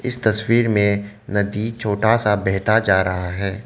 इस तस्वीर में नदी छोटा सा बहता जा रहा है।